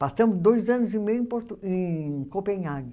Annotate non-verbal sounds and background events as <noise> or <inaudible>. Passamos dois anos e meio em <unintelligible> em Copenhague.